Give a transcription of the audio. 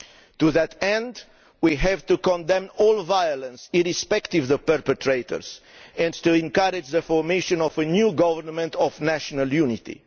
To that end, we must condemn all violence, irrespective of the perpetrators, and encourage the formation of a new government of national unity.